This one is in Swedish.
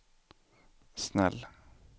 snäll